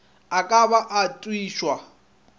a ka ba a otišwa